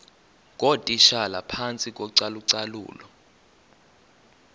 ngootitshala phantsi kocalucalulo